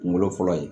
Kunkolo fɔlɔ ye